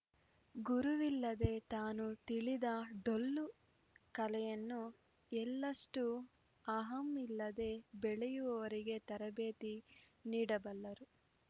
ಗುರುವಿಲ್ಲದೆ ತಾನು ತಿಳಿದ ಡೊಳ್ಳು ಕಲೆಯನ್ನು ಎಳ್ಳಷ್ಟೂಅಹಂ ಇಲ್ಲದೇ ಬೆಳೆಯುವವರಿಗೆ ತರಬೇತಿ ನೀಡಬಲ್ಲರು